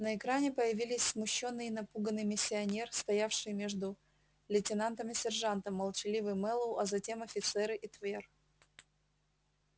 на экране появились смущённый и напуганный миссионер стоявший между лейтенантом и сержантом молчаливый мэллоу а затем офицеры и твер